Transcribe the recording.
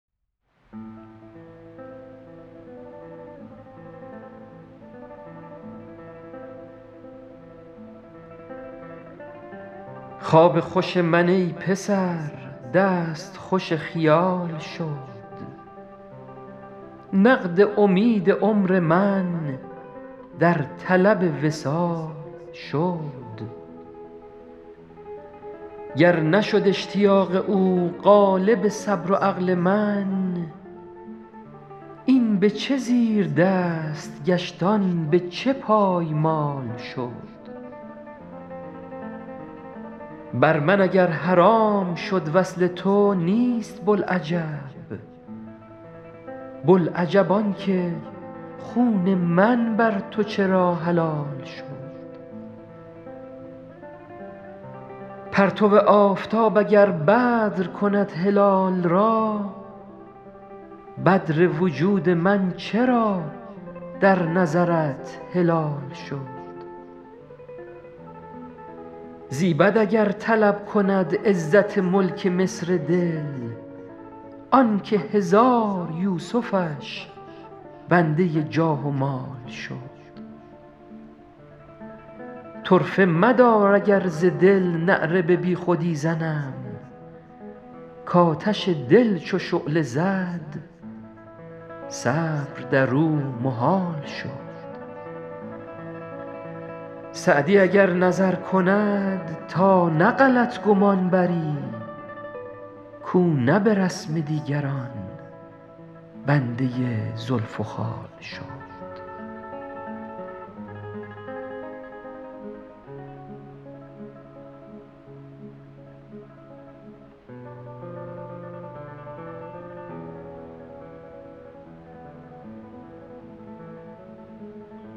خواب خوش من ای پسر دست خوش خیال شد نقد امید عمر من در طلب وصال شد گر نشد اشتیاق او غالب صبر و عقل من این به چه زیردست گشت آن به چه پایمال شد بر من اگر حرام شد وصل تو نیست بوالعجب بوالعجب آن که خون من بر تو چرا حلال شد پرتو آفتاب اگر بدر کند هلال را بدر وجود من چرا در نظرت هلال شد زیبد اگر طلب کند عزت ملک مصر دل آن که هزار یوسفش بنده جاه و مال شد طرفه مدار اگر ز دل نعره بی خودی زنم کآتش دل چو شعله زد صبر در او محال شد سعدی اگر نظر کند تا نه غلط گمان بری کاو نه به رسم دیگران بنده زلف و خال شد